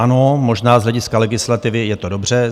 Ano, možná z hlediska legislativy je to dobře.